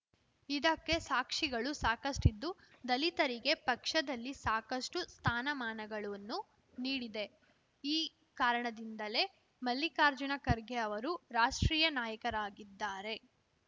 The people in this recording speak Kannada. ಇದಕ್ಕೆ ಸಾಕ್ಷಿಗಳು ಸಾಕಷ್ಟಿದ್ದು ದಲಿತರಿಗೆ ಪಕ್ಷದಲ್ಲಿ ಸಾಕಷ್ಟುಸ್ಥಾನಮಾನಗಳನ್ನು ನೀಡಿದೆ ಈ ಕಾರಣದಿಂದಲೇ ಮಲ್ಲಿಕಾರ್ಜುನ ಖರ್ಗೆ ಅವರು ರಾಷ್ಟ್ರೀಯ ನಾಯಕರಾಗಿದ್ದಾರೆ